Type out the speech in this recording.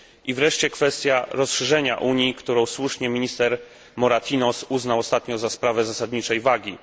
Wreszcie kwestia rozszerzenia Unii, którą słusznie minister Moratinos uznał ostatnio za sprawę zasadniczej wagi.